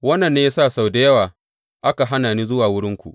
Wannan ne ya sa sau da yawa aka hana ni zuwa wurinku.